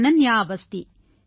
Ananya Awasthi